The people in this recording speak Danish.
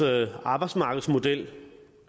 arbejdsmarkedsmodel